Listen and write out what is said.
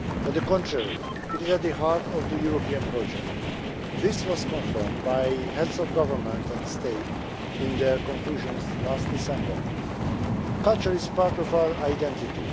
On the contrary, it is at the heart of the European project. This was confirmed by the Heads of State and Government in their conclusions last December. Culture is part of our identity.